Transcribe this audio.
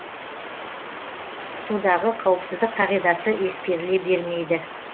судағы қауіпсіздік қағидасы ескеріле бермейді